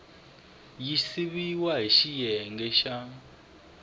yi siviwile hi xiyenge xa